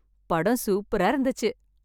படம் சூப்பரா இருந்துச்சு